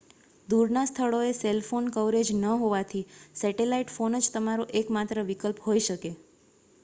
દૂરના સ્થળોએ cell phone coverage ન હોવાથી સેટેલાઇટ ફોન જ તમારો એક માત્ર વિકલ્પ હોઈ શકે